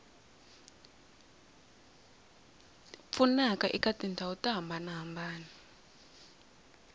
pfunaka eka tindhawu to hambanahambana